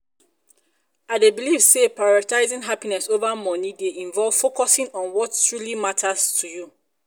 i dey dey believe say um prioritizing happiness over money um dey involve focusing on what truly matters to um you.